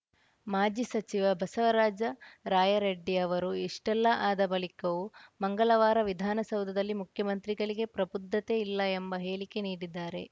ಮಾಜಿ ಸಚಿವ ಬಸವರಾಜ ರಾಯರೆಡ್ಡಿ ಅವರು ಇಷ್ಟೆಲ್ಲಾ ಆದ ಬಳಿಕವೂ ಮಂಗಳವಾರ ವಿಧಾನಸೌಧದಲ್ಲಿ ಮುಖ್ಯಮಂತ್ರಿಗಳಿಗೆ ಪ್ರಬುದ್ಧತೆ ಇಲ್ಲ ಎಂಬ ಹೇಳಿಕೆ ನೀಡಿದ್ದಾರೆ